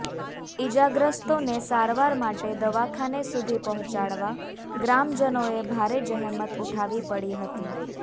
ઈજાગ્રસ્તોને સારવાર માટે દવાખાને સુધી પહોંચાડવા ગ્રામજનોએ ભારે જહેમત ઉઠાવી પડી હતી